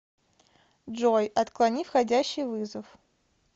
джой отклони входящий вызов